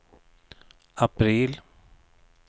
april